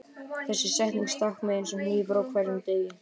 Þessi setning stakk mig eins og hnífur á hverjum degi.